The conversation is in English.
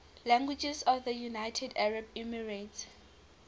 languages of the united arab emirates